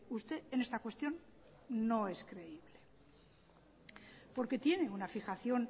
usted en esta cuestión no es creíble porque tiene una fijación